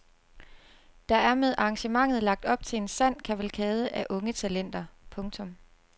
Der er med arrangementet lagt op til en sand kavalkade af unge talenter. punktum